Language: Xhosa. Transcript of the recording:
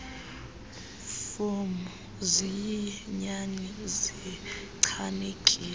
fomu ziyinyani zichanekile